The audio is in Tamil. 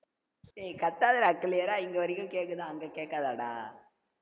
டேய் கத்தாதடா clear ஆ இங்க வரைக்கும் கேட்குது அங்க கேக்காதடா